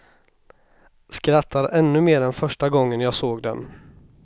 Skrattar ännu mer än första gången jag såg den.